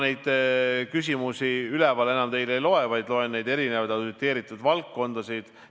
Nüüd ma küsimusi ülemiselt realt enam teile ette ei loe, vaid loen ette neid auditeeritud valdkondasid.